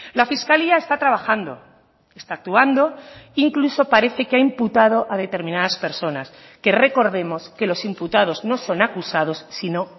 la fiscalía está trabajando está actuando incluso parece que ha imputado a determinadas personas que recordemos que los imputados no son acusados sino